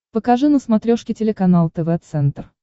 покажи на смотрешке телеканал тв центр